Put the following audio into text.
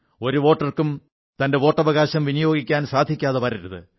ഒരു വോട്ടർക്കും തന്റെ വോട്ടവകാശം വിനിയോഗിക്കാൻ സാധിക്കാതെ വരരുത്